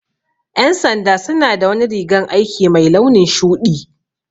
Ƴan sanda suna da wani rigan aiki mai launin shuɗi